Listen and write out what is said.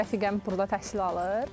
Rəfiqəm burda təhsil alır.